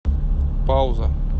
пауза